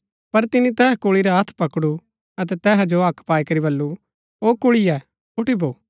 पर तिनी तैहा कुल्ळी रा हत्थ पकडु अतै तैहा जो हक्क पाई करी वल्‍लु ओ कुल्ळीए ऊठी भो